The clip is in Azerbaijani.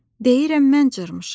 Deyirəm mən cırmışam.